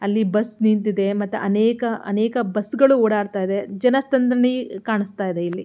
ಅಲ್ಲಿ ಬಸ್ ನಿಂತಿದೆ ಮತ್ತು ಅನೇಕ ಬಸ್ ಗಳು ಓಡಾಡುತ್ತ ಇವೆ ಜನಸಂದಣಿ ಕಾಣಿಸ್ತಾ ಇದೆ ಇಲ್ಲಿ.